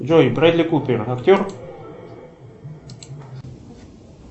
джой брэдли купер актер